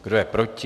Kdo je proti?